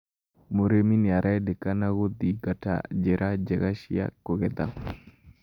Mũrĩmi nĩ arendekana gũthingata njĩra njega cia kũgetha